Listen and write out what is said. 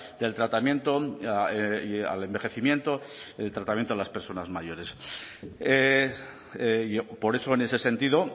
del tratamiento al envejecimiento el tratamiento a las personas mayores por eso en ese sentido